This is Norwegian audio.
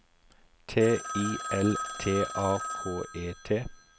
T I L T A K E T